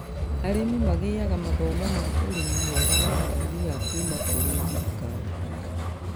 Arĩmi magĩaga mathomo ma ũrimi mwega wa ndania kuma kũri thirikari